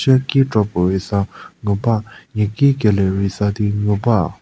cheki kropuo rei sa ngu ba niaki kelie rei sa di ngu ba.